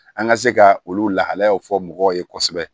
An ka se ka olu lahalayaw fɔ mɔgɔw ye kosɛbɛ